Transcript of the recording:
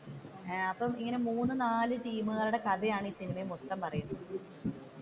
അഹ് അപ്പൊ ഇങ്ങനെ മൂന്നു നാല് ടീമുകളുടെ കഥയാണ് ഈ സിനിമയിൽ മൊത്തം പറയുന്നത്.